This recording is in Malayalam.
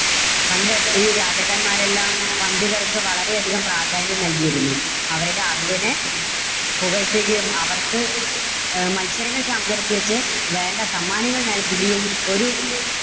പണ്ട് ഈ രാജാക്കന്മാരെല്ലാം പണ്ഡിതർക്ക് വളരെ അധികം പ്രാധാന്യം നൽകിയിരുന്നു. അവരുടെ അറിവിനെ പുകഴ്ത്തുകയും, അവർക്ക് അഹ് മത്സരങ്ങൾ സംഘടിപ്പിച്ച് വേണ്ട സമ്മാനങ്ങൾ നൽകുകയും. ഒരു